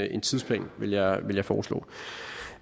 en tidsplan vil jeg vil jeg foreslå